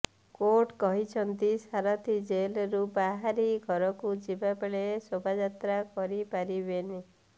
court କହିଛନ୍ତି ସାରଥି ଜେଲରୁ ବାହାରି ଘରକୁ ଯିବାବେଳେ ଶୋଭାଯାତ୍ରା କରିପାରିବେନି